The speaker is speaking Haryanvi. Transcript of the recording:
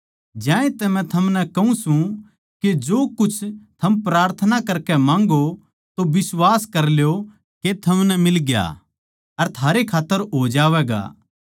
ज्यांतै मै थमनै कहूँ सूं के जो कुछ थम प्रार्थना करकै माँग्गो तो बिश्वास कर ल्यो के थमनै मिलग्या अर थारै खात्तर हो जावैगा